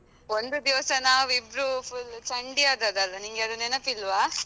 ಒಂದು ದಿವಸ ನಾವಿಬ್ರು full ಚಂಡಿ ಆದದ್ದಲ್ಲ ನಿಂಗೆ ಅದು ನೆನಪಿಲ್ವಾ?